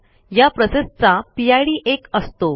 ह्या प्रोसेसचा पिड एक असतो